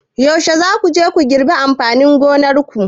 Yaushe za ku je ku girbi amfanin gonar ku?